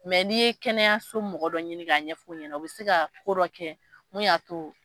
Mɛ n'i ye kɛnɛya so mɔgɔ dɔ ɲini k'a ɲɛ ɲɛfɔ ɲɛna o bɛ se ka ko dɔ kɛ min y'a to.